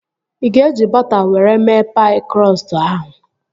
Ị ga-eji bọta were mee paị krọstụ ahụ?